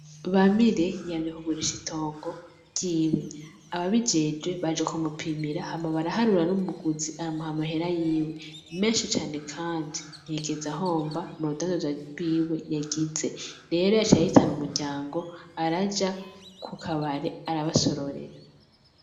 Bamire yamye kugurisha itongo ry'iwe. Ababijejwe baje kumupimira hama baraharura n'umuguzi amuh' amahera yiwe menshi cane kandi ntiyigeze ahomba m'urudandaza rwiwe yagize ,rero yaciye ahitan'umuryango araja kukabare arabasororera.